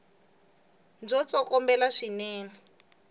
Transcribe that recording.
bya tsokombela swinene